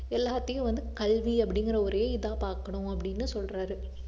எல்லாத்தையும் வந்து கல்வி அப்படிங்கற ஒரே இதா பார்க்கணும் அப்படின்னு சொல்றாரு